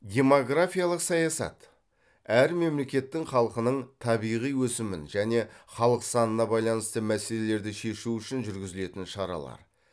демографиялық саясат әр мемлекеттің халқының табиғи өсімін және халық санына байланысты мәселелерді шешу үшін жүргізілетін шаралар